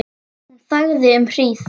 Hún þagði um hríð.